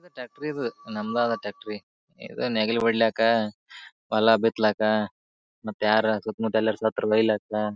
ಇದ ಟ್ರಾಕ್ಟ್ರಿ ಇದು. ನಮದ ಅದ ಟ್ರಾಕ್ಟ್ರಿ ಇದು ನೇಗಿಲ ಬಡ್ಲ್ಯಾಕ ಹೊಲ ಬಿತ್ಲಾಕ ಮತ್ತ ಯಾರ ಸುತ್ತು ಮುತ್ತ ಯಲ್ಲರ ಸತ್ತರ ಒಯ್ಲ್ಯಾಕ.